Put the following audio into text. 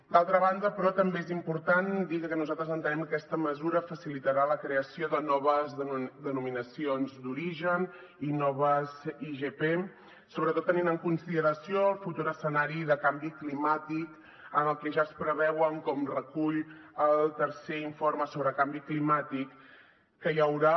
d’altra banda però també és important dir que nosaltres entenem que aquesta mesura facilitarà la creació de noves denominacions d’origen i noves igp sobretot tenint en consideració el futur escenari de canvi climàtic en el que ja es preveuen com recull el tercer informe sobre canvi climàtic que hi haurà